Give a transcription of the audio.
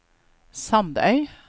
Sandøy